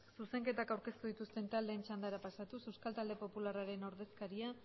zuzenketak aurkeztu ez dituzten taldeen txandara pasatuz euskal talde popularraren ordezkaria